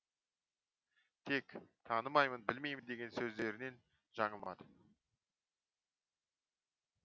тек танымаймын білмеймін деген сөздерінен жаңылмады